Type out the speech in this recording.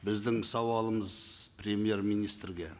біздің сауалымыз премьер министрге